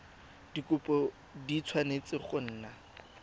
dikhopi di tshwanetse go nna